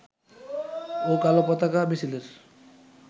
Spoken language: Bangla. ও কালো পতাকা মিছিলের